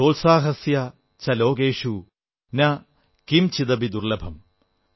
സോത്സാഹസ്യ ച ലോകേഷു ന കിംചിദപി ദുർലഭം